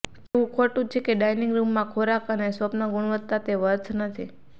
કહેવું ખોટું છે કે ડાઇનિંગ રૂમમાં ખોરાક અને સ્વપ્ન ગુણવત્તા તે વર્થ નથી